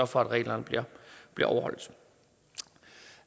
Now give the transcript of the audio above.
for at reglerne bliver overholdt